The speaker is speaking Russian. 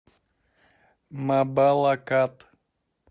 мабалакат